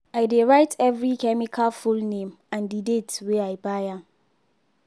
i dey write every chemical full name and the date wey i buy am.